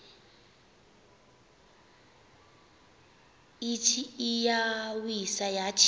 ithi iyawisa yathi